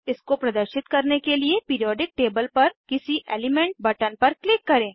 इसको प्रदर्शित करने के लिए पिरीऑडिक टेबल पर किसी एलीमेंट बटन पर क्लिक करें